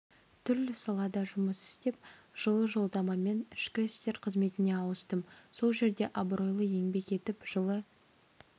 түрлі салада жұмыс істеп жылы жолдамамен ішкі істер қызметіне ауыстым сол жерде абыройлы еңбек етіп жылы